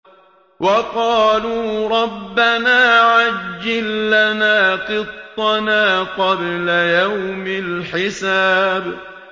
وَقَالُوا رَبَّنَا عَجِّل لَّنَا قِطَّنَا قَبْلَ يَوْمِ الْحِسَابِ